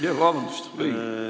Jaa, vabandust, õige!